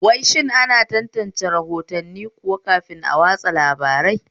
Wai shin ana tantance rahotanni kuwa kafin watsa labarai?